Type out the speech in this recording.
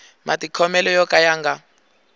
matikhomelo yo ka ya nga